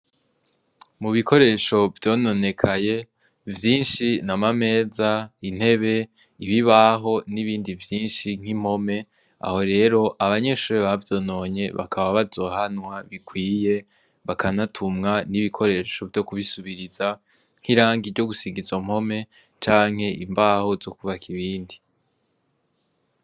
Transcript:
Mu bikoresho vyononekaye vyinshi ni amameza, intebe, ibibaho n'ibindi vyinshi nk'impome, aho rero abanyeshure bavyononye bakaba bazohanwa bikwiye bakanatumwa n'ibikoresho vyo kubisubiriza nk'irangi ryo gusiga izo mpome canke imbaho zo kubaka ibindi.